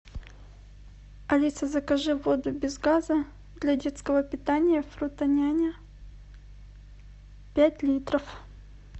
алиса закажи воду без газа для детского питания фрутоняня пять литров